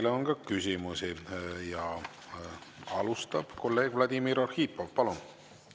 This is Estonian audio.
Teile on ka küsimusi ja alustab kolleeg Vladimir Arhipov.